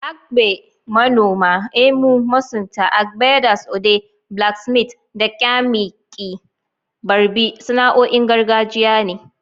Agbe (Manoma), EMU (masunta), Agbeders), Ode (blacksmiths), da kyamaqi (barbi) sana'o'in gargajiya ne.